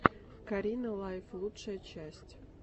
карина лайф лучшая часть